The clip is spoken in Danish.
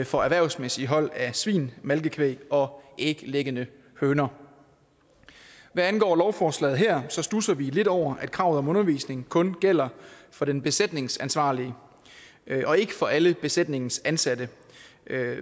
for erhvervsmæssige hold af svin malkekvæg og æglæggende høner hvad angår lovforslaget her studser vi lidt over at kravet om undervisning kun gælder for den besætningsansvarlige og ikke for alle besætningens ansatte